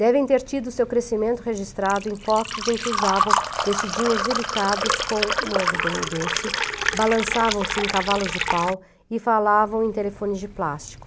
Devem ter tido seu crescimento registrado em fotos em que usavam vestidinhos delicados com um algodão doce, balançavam-se em cavalos de pau e falavam em telefones de plástico.